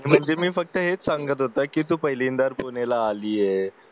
म्हणजे मी ना फक्त हेच सांगत होता कि तू ना पहिल्यांदा पुण्याला आलीये